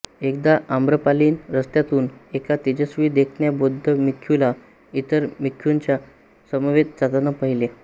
एकदा आम्रपालीने रस्त्यातून एका तेजस्वी देखण्या बौद्ध भिक्खूला इतर भिक्खूंच्या समवेत जाताना पाहिले